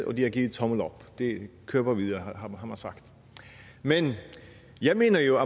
og at de har givet tommel op det kører bare videre har man sagt men jeg mener jo